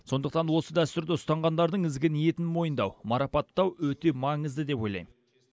сондықтан осы дәстүрді ұстанғандардың ізгі ниетін мойындау марапаттау өте маңызды деп ойлаймын